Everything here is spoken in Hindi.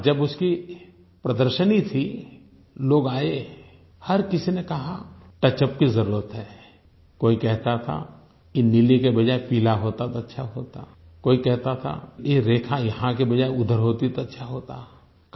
और जब उसकी प्रदर्शनी थी लोग आए हर किसी ने कहा टचअप की ज़रूरत है कोई कहता था कि नीले की बजाए पीला होता तो अच्छा होता कोई कहता था ये रेखा यहाँ के बजाये उधर होती तो अच्छा होता